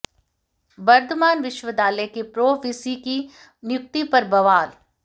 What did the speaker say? बर्दवान विश्वविद्यालय के pro V C की नियु्क्ति पर बवाल